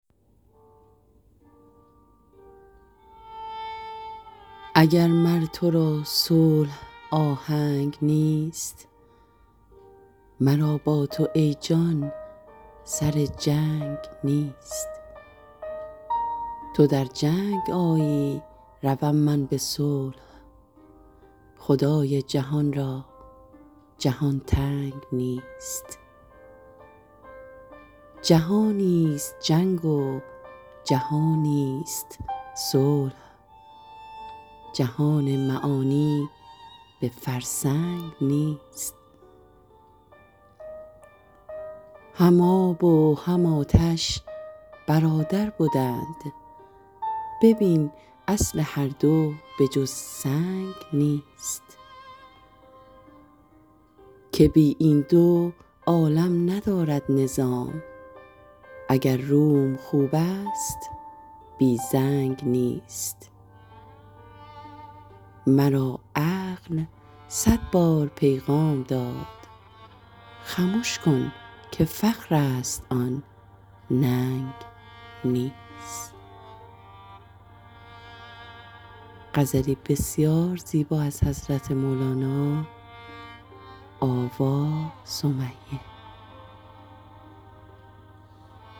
اگر مر تو را صلح آهنگ نیست مرا با تو ای جان سر جنگ نیست تو در جنگ آیی روم من به صلح خدای جهان را جهان تنگ نیست جهانیست جنگ و جهانیست صلح جهان معانی به فرسنگ نیست هم آب و هم آتش برادر بدند ببین اصل هر دو به جز سنگ نیست که بی این دو عالم ندارد نظام اگر روم خوبست بی زنگ نیست مرا عقل صد بار پیغام داد خمش کن که فخرست آن ننگ نیست